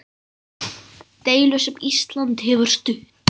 Deilu sem Ísland hefur stutt.